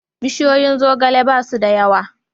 Bishiyoyin zogale ba su da yawa.